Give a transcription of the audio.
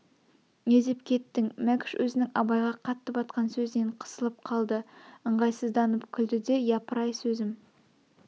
не деп кеттің мәкш өзнің абайға қатты батқан сөзінен қысылып қалды ыңғайсызданып күлді де япырай сөзім